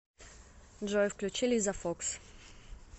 джой включи лиза фокс